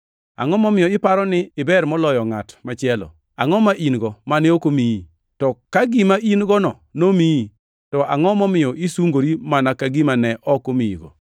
Angʼo momiyo iparo ni iber moloyo ngʼat machielo? Angʼo ma in-go mane ok omiyi? To ka gima in-gono nomiyi, to angʼo momiyo isungori mana ka gima ne ok omiyigo?